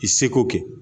I seko kɛ